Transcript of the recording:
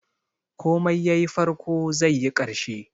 Komai yayi farko, zaiyi ƙarshe.